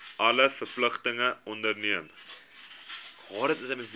alle verpligtinge onderneem